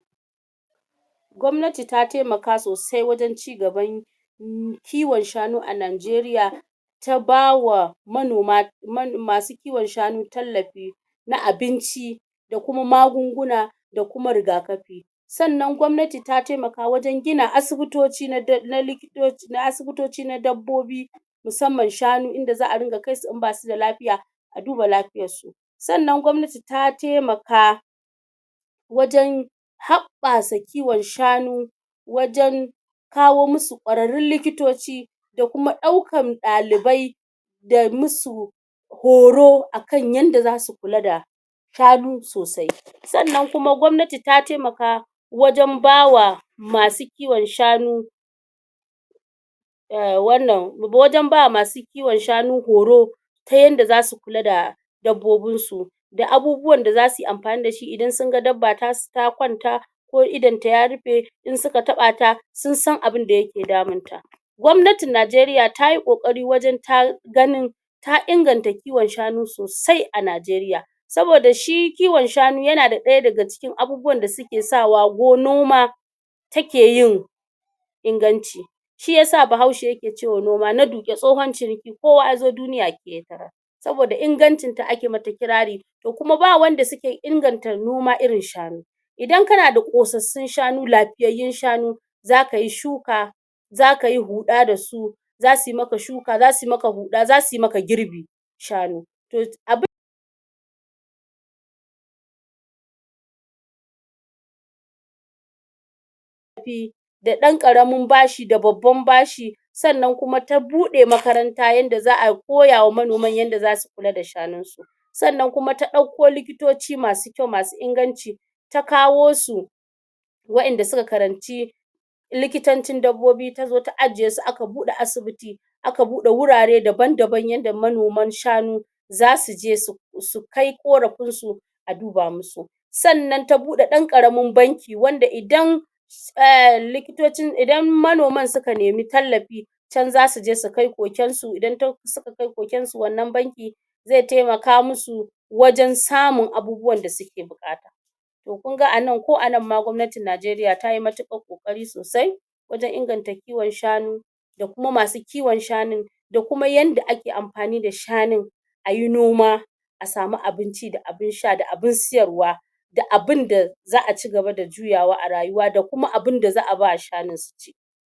gwamnati ta temaka sosai wajen cigaban kiwon shanu a Najeriya ta ba wa manoma masu kiwon shanu tallafi na abinci da kuma magunguna da kuma rigakafi sannan gwamnati ta temaka wajen gina asibitoci na asibitoci na dabbobi musamman shanu inda za'a dinga kai su in basu da lafiya a duba lafiyar su sannan gwamnati ta temaka wajen haɓɓasa kiwon shanu wajen kawo mu su ƙwararrin likitoci da kuma ɗaukan ɗalibai da mu su horo a kan yadda zasu kula da shanu sosai sannan kuma gwamnati ta temaka wajen ba wa masu kiwon shanu ehh wannan wajen ba masu kiwon shanu horo ta yanda zasu kula da dabbobin su da abubuwan da zasu yi amfani da shi idan sun ga dabba ta kwanta ko idonta ya rufe in suka taɓa ta sun san abinda yake damunta gwamnatin Najeriya tayi ƙoƙari wajen ta ganin ta inganta kiwon shanu sosai a Najeriya saboda shi kiwon shanu yana ɗaya daga cikin abubuwan da suke sa wa noma ta ke yin inganci shi yasa bahaushe yake ce wa noma na duƙe tsohon ciniki ko wa ya zo duniya ke ya tarar saboda ingancin ta ake mata kirari to kuma ba wanda suke inganta noma irin shanu idan kana da ƙosassun shanu, lafiyayyun shanu zaka yi shuka zaka yi huɗa da su zasu yi maka shuka, zasu yi maka huɗa zasu yi maka girbi shanu da ɗan ƙaramin bashi da babban bashi sannan kuma ta buɗe makaranta yadda za'a koya wa manoman yadda zasu kula da shanun su sannan kuma ta ɗauko likitoci masu kyau masu inganci ta kawo su wa'inda suka karanci likitancin dabbobi ta zo ta ajiye su aka buɗe asibiti aka buɗe wurare daban-daban yadda manoman shanu zasu je su kai ƙorafin su a duba mu su sannan ta buɗe ɗan ƙaramin banki wanda idan idan manoman suka nema tallafi can zasu je su kai koken su idan suka kai koken su wannan banki ze temaka mu su wajen samun abubuwan da suke buƙata to kun ga ko a nan ma gwamnatin Najeriya tayi matuƙar ƙoƙari sosai wajen inganta kiwon shanu da kuma masu kiwon shanu da kuma yadda ake amfani da shanun ayi noma a samu abun ci da abun sha da abun siyarwa da abunda za'a cigaba da juyawa a rayuwa da kuma abunda za'a ba wa shanun su ci